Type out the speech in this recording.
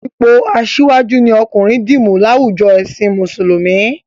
Ipò asíwájú ni ọkùnrin dì mú láwùjo ẹ̀sìn Mùsùlùmí